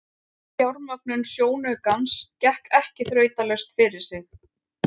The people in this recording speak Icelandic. Fjármögnun sjónaukans gekk ekki þrautalaust fyrir sig.